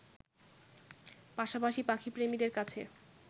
পাশাপাশি পাখিপ্রেমীদের কাছে